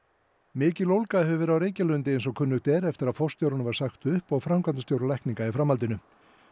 mikil ólga hefur verið á Reykjalundi eins og kunnugt er eftir að forstjóranum var sagt upp og framkvæmdastjóra lækninga í framhaldinu